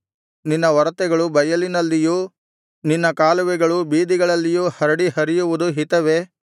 ನಿನ್ನ ಒರತೆಗಳು ಬಯಲಿನಲ್ಲಿಯೂ ನಿನ್ನ ಕಾಲುವೆಗಳು ಬೀದಿಗಳಲ್ಲಿಯೂ ಹರಡಿ ಹರಿಯುವುದು ಹಿತವೇ